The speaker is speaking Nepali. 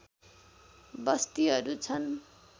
बस्तीहरू छन्